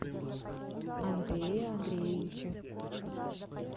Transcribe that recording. андрее андреевиче